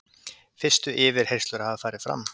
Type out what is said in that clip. Fyrstu yfirheyrslur hafa farið fram.